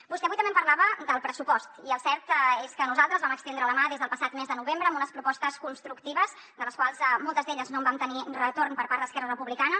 vostè avui també em parlava del pressupost i el cert és que nosaltres vam estendre la mà des del passat mes de novembre amb unes propostes constructives de les quals de moltes d’elles no vam tenir retorn per part d’esquerra republicana